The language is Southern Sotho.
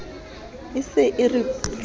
e se e re putla